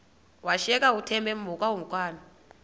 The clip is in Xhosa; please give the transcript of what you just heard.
washiyeka uthemba emhokamhokana